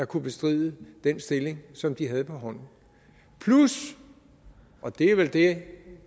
kunne bestride den stilling som de havde på hånden plus og det er vel det